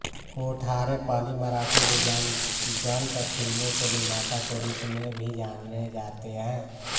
कोठारे पहली मराठी विज्ञान गल्प फिल्मों के निर्माता के रूप में भी जाने जाते हैं